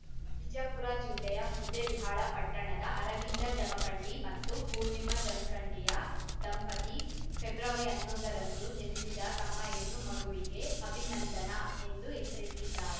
ವಿಜಯಪುರ ಜಿಲ್ಲೆಯ ಮುದ್ದೇಬಿಹಾಳ ಪಟ್ಟಣದ ಅರವಿಂದ ಜಮಖಂಡಿ ಮತ್ತು ಪೂರ್ಣಿಮಾ ಜಮಖಂಡಿಯ ದಂಪತಿ ಫೆಬ್ರವರಿ ಹನ್ನೊಂದ ರಂದು ಜನಿಸಿದ ತಮ್ಮ ಹೆಣ್ಣು ಮಗುವಿಗೆ ಅಭಿನಂದನಾ ಎಂದು ಹೆಸರಿಟ್ಟಿದ್ದಾರೆ